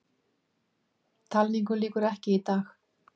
Talningu lýkur ekki í dag